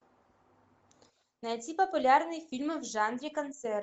найди популярные фильмы в жанре концерт